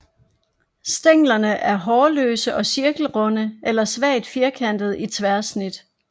Stænglerne er hårløse og cirkelrunde eller svagt firkantede i tværsnit